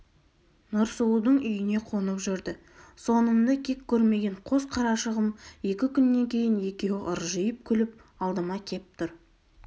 нұрсұлудың үйіне қонып жүрді сонымды кек көрмеген қос қарашығым екі күннен кейін екеуі ыржиып күліп алдыма кеп тұр